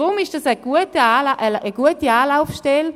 Darum braucht es eine gute Anlaufstelle.